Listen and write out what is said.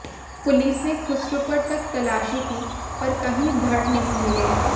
police ने खुसरूपुर तक तलाशी की पर कहीं धड़ नहीं मिले